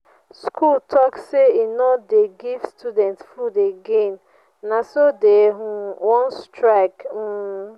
school talk say e no dey give students food again na so dey um wan strike um.